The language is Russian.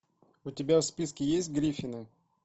у тебя в списке есть гриффины